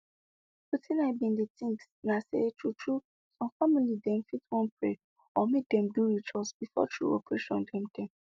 wetin i bin dey think na say true true some family dem fit wan pray or make dem do ritual before true operation dem dem